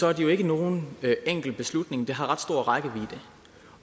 er det jo ikke nogen enkel beslutning det har ret stor rækkevidde